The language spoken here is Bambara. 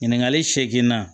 Ɲininkali seeginna